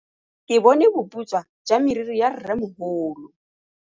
Ke bone boputswa jwa meriri ya rrêmogolo.